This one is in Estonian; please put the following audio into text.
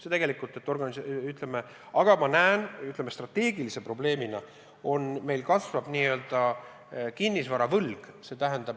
Ma näen, et ühe, ütleme, strateegilise probleemina meil kasvab kinnisvara võlg.